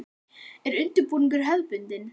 Er undirbúningur hefðbundin?